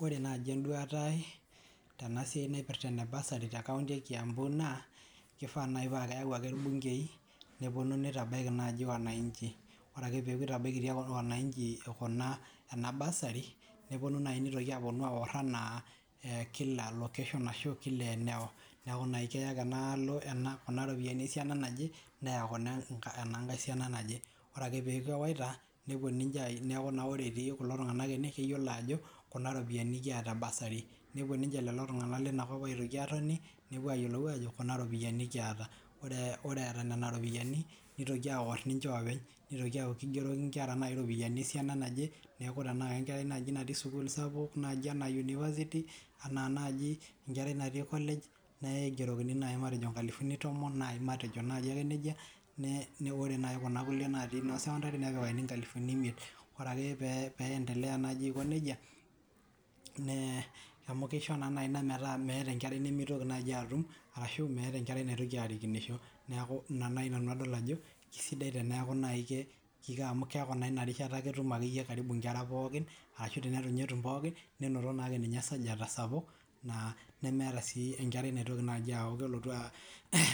Ore naaji enduata aii tena siai naipireta ene basari tee nkop ekiambu naa keifaa nayii paa keyau ake irbunkei neponu neitabaki naaji wanainchi ore peeku eita eakitia kulo wanachi kuna ena basri neponu nai neitokini aorr naa kila location neeku keya ake enaalo Kuna ropiyini esiana naje neya kuna ena nkae siana naje ore akee peeku ewaita nepuo neku naa ore etii kulo tung'anak ene keyiolo ajo kuna ropiyiani kiyata ee basari nepuo ninche lelo tung'anak leina kop aitoki atooni neuo ayiolou aajo kuna ropiyiani kiata oree eeta nena ropiani teitoki aoor ninche ooopeny neeku ketaki inkera nayii iropiyiani esiana naje neeku ore enkarai najii natii sukul sapuk naaji enaa university enaa naji enkerai natii college neigerokini nayii mateji inkalifuni tomon naayi matejo naaji ake nejia naa ore nayii Kuna kulie naati secondary nepikakini inkalifuni imiet ore ake peendelea najii aiko nejia amu keisho nayii ina meta meeta nayii enkerai naitoki atum arashu meeta enkerai naitoki arikinisho neeku ina nayii nanu adol ajo keisidai teneaku nayii keiko amu keeku naa ake ina rishata eimarie inkera pokin neeku ashuu teneitu inye etum pookin nenoto naa ake esanyata sapuk naa nemeeta sii enkerai naitoki najii aku kelotu